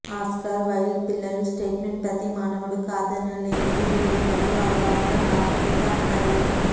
Oscar Wilde పిల్లలు statements ప్రతి మానవుడు కాదనలేనిది విలువ మరియు అవగాహన ప్రాముఖ్యత అండర్లైన్